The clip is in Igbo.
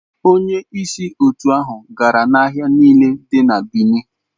Onye isi otu ahụ gara n'ahịa niile dị na Benin.